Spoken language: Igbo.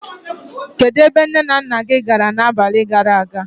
Kedụ ebe nné na nnà gị gàrà n'abalị gàrà aga?